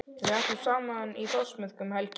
Við ætlum saman í Þórsmörk um helgina.